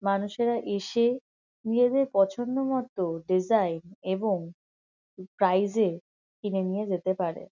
মানুষেরা এসে নিজেদের পছন্দ মতো ডিসাইন এবং প্রাইস -এ কিনে নিয়ে যেতে পারে ।